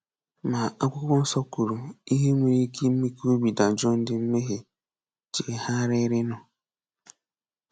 Ma, Akwụkwọ Nsọ kwuru ihe nwere ike ime ka obi dajụọ ndị mmehie chegharịrịnụ.